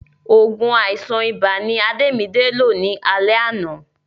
Òògùn àìsàn ibà ni Adémidé lò ní alé àná